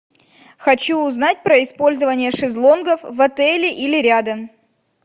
хочу узнать про использование шезлонгов в отеле или рядом